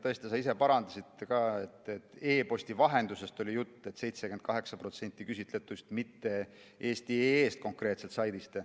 Tõesti, sa ise ka parandasid, et e‑posti vahendusest oli jutt nende 78% küsitletute puhul, mitte eesti.ee‑st konkreetselt.